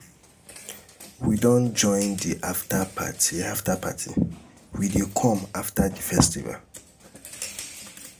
we go join di afta party afta party wey dey come after di festival.